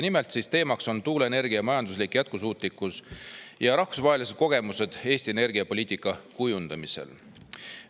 Nimelt, teemaks on tuuleenergia majanduslik jätkusuutlikkus ja rahvusvahelised kogemused Eesti energiapoliitika kujundamisel.